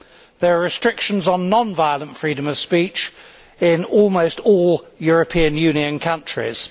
There are restrictions on non violent freedom of speech in almost all European Union countries.